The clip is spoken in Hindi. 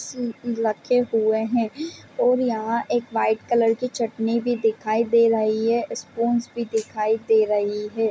रखे हुए हैं और यहाँ एक व्हाइट कलर की चटनी भी दिखाई दे रही है स्पूनस भी दिखाई दे रही है।